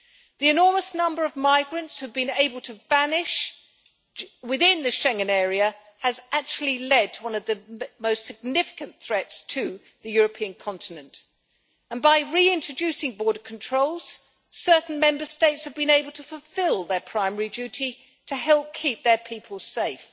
The enormous number of migrants who have been able to vanish within the Schengen area has actually led to one of the most significant threats to the European continent, and by reintroducing border controls, certain Member States have been able to fulfil their primary duty to help keep their people safe.